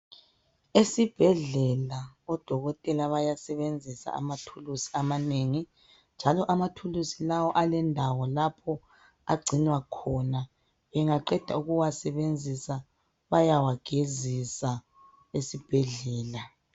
esibhedlela odokotela bayasebenzisa amathulusi amanengi njalo amathulusi lawa alendawo lapho agcinwa khona bengaqeda ukuwasebenzisa bayawagezisa esibhedlela